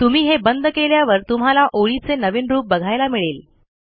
तुम्ही हे बंद केल्यावर तुम्हाला ओळीचे नवीन रूप बघायला मिळेल